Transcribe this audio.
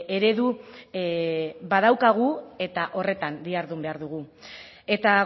eredu badaukagu eta horretan dihardun behar dugu eta